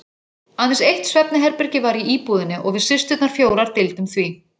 Aðeins eitt svefnherbergi var í íbúðinni og við systurnar fjórar deildum því.